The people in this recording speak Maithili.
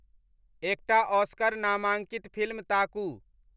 एकटा ऑस्कर नामांकित फिल्म ताकू